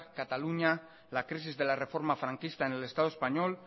cataluña la crisis de la reforma franquista en el estado español